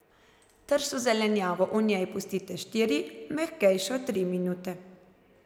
Tršo zelenjavo v njej pustite štiri, mehkejšo tri minute.